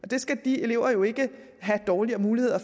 det skal de elever jo ikke have dårligere muligheder